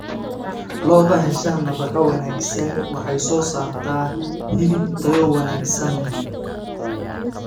Lo'da hesha nafaqo wanaagsan waxay soo saartaa hilib tayo wanaagsan leh.